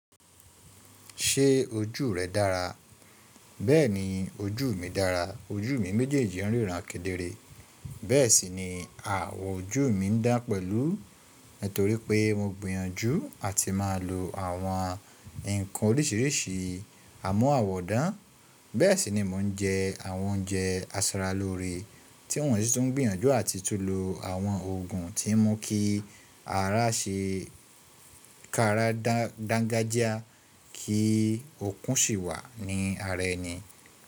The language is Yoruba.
Ṣé ojú rẹ dára? Bẹ́ẹ̀ni, ojú mi dára. Ojú mi méjèèjì ríran kedere. Bẹ́ẹ̀ sì ni ààwọ̀ ojú mi ń dán pẹ̀lú, nítorí pé mo gbìyànjú à ti máa lo àwọn ǹkan oríṣiríṣi àmúàwọ̀dán. Bẹ́ẹ̀ sì ni mò ń jẹ àwọn oúnjẹ asaralóore tí wọ́n sì tún ń gbìyànjú àti tún lo àwọn òògùn tí ń mú kí ara ṣe káara dangajia kí òkun sì wà ní ara ẹni.